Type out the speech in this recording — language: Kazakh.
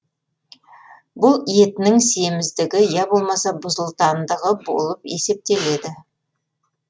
бұл етінің семіздігі я болмаса бұзылтандығы болып есептеледі